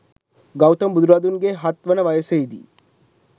ගෞතම බුදුරදුන්ගේ හත් වන වසයෙහි දී